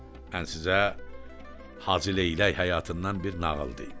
Mən sizə hacıleylək həyatından bir nağıl deyim.